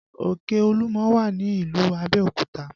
Òkè Olúmọ wà ní ìlú Abẹ́òkúta